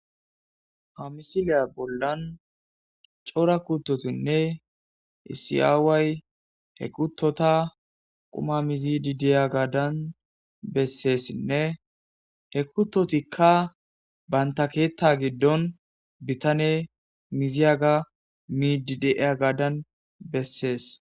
Ha missiliya bolan c'ora kutotinne issi away he kutota quma mizide diyagan besesinne he kutotikka banta ketha gidoni bitaney midi de'iyagadan beses.